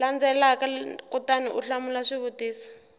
landzelaka kutani u hlamula swivutiso